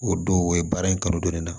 O don o ye baara in kanu don ne na